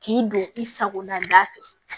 K'i don i sago la